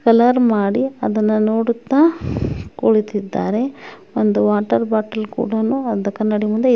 Colour ಮಾಡಿ ಅದನ್ನ ನೋಡುತ್ತಾ ಕುಳಿತ್ತಿದ್ದಾರೆ . ಒಂದು ವಾಟರ್ ಬಾಟಲ್ ಕೂಡನು ಒಂದು ಕನ್ನಡಿ ಮುಂದೆ--